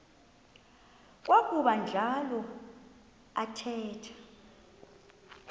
kwakuba njalo athetha